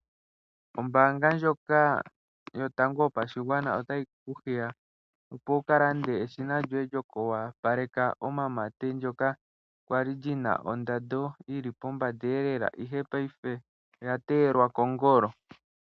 Ombaanga ndjoka yotango yopashigwana otayi ku hiya opo wu ka lande eshina lyoku opaleka omamate, ndyoka lya li lyi na ondando yi li pombanda, ihe paife oya teyelwa kongolo.